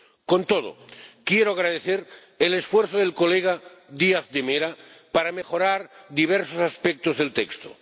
Con todo, quiero agradecer el esfuerzo del diputado Díaz de Mera para mejorar diversos aspectos del texto.